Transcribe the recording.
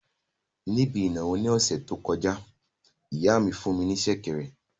Níbi ìnáwó ní ọ̀sẹ̀ tó kọjá, ìyá mi fún ní sẹ̀kẹ̀rẹ̀